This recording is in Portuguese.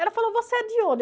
Ela falou, você é de onde?